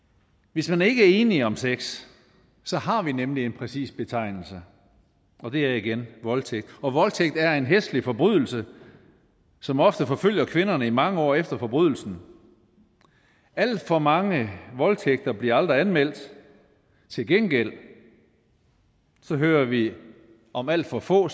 hvis man ikke er enige om sex så har vi nemlig en præcis betegnelse og det er igen voldtægt og voldtægt er en hæslig forbrydelse som ofte forfølger kvinderne i mange år efter forbrydelsen alt for mange voldtægter bliver aldrig anmeldt til gengæld hører vi om at alt for få